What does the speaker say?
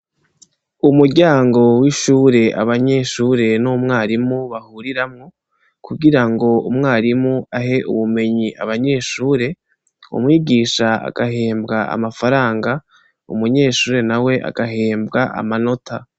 Umuryango w'ishuri abanyeshuri n'umwarimu bahuririramwo kugirango umwarimu ahe ubumenyi abanyeshuri, Umwigisha agahembwa amafaranga umunyeshuri nawe agahembwa amanota.